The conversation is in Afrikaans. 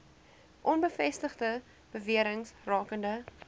onbevestigde bewerings rakende